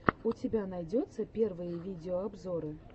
у тебя найдется первые видеообзоры